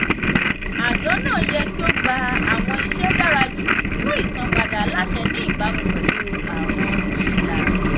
àjọ náà yẹ kí ó gba àwọn ìṣe dára jù fún ìsanpadà aláṣẹ ní ìbámu pẹ̀lú àwọn ìlànà.